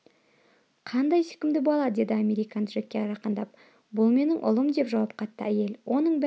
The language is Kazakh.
қандай сүйкімді бала деді американ джекке жақындап бұл менің ұлым деп жауап қатты әйел оның бәрі